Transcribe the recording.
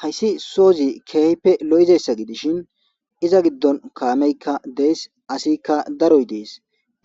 hayssi sozi keehipe lo7izessa gidishin iza giddon kaameykka dees asikka daroy dees